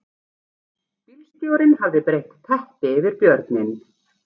Bílstjórinn hafði breitt teppi yfir björninn